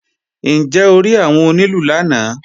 Ǹjẹ́ o rí àwọn onílù lánàá?